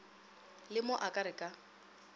le mo a re ka